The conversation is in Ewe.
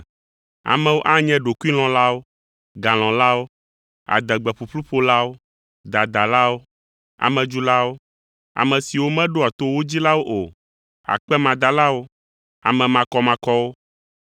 Amewo anye ɖokuilɔ̃lawo, galɔ̃lawo, adegbe ƒuƒlu ƒolawo, dadalawo, amedzulawo, ame siwo meɖoa to wo dzilawo o, akpemadalawo, ame makɔmakɔwo,